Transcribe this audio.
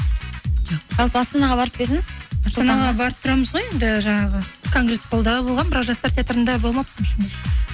жалпы астанаға барып па едіңіз барып тұрамыз ғой енді жаңағы конгрессхолда болғанмын бірақ жастар театрында болмаппын шынымды